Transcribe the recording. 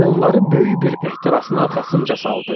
Onları böyük bir ehtirasın arxasınca saldı.